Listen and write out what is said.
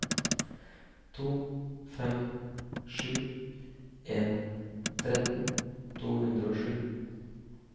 to fem sju en tretten to hundre og sju